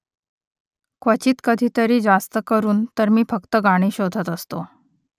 क्वचित कधीतरी जास्तकरून तर मी फक्त गाणी शोधत असतो